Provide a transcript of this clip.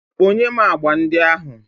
Kponye m agba ndị ahụ.